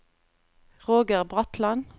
Roger Bratland